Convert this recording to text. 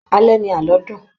Alẹ́ ni àlọ́ dùn